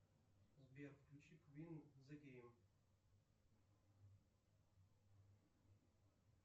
сбер включи квин зе гейм